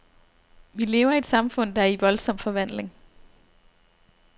Vi lever i et samfund, der er i voldsom forvandling.